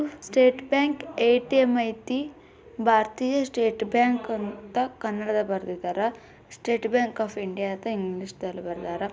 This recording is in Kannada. ಸ್ಟೇಟ್ ಬ್ಯಾಂಕ್ ಎ_ಟಿ_ಎಂ ಐತಿ ಭಾರತೀಯ ಸ್ಟೇಟ್ ಬ್ಯಾಂಕ್ ಅಂತ ಕನ್ನಡದಲ್ ಬರ್ದಿದಾರೆ ಸ್ಟೇಟ್ ಬ್ಯಾಂಕ್ ಆಫ್ ಇಂಡಿಯಾ ಅಂತ ಇಂಗ್ಲಿಷದಲ್ಲ್ ಬರ್ದಿದಾರ.